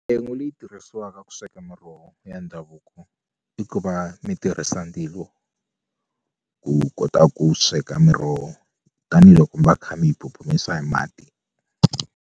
leyi tirhisiwaka ku sweka miroho ya ndhavuko i ku va mi tirhisa ndzilo ku kota ku sweka miroho tanihiloko mi va mi kha mi yi phuphumisa hi mati.